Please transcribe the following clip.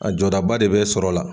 A jɔdaba de bɛ sɔrɔ la.